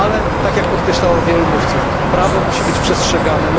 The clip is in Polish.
Ale, tak jak podkreślało wielu mówców, prawo musi być przestrzegane.